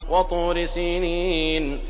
وَطُورِ سِينِينَ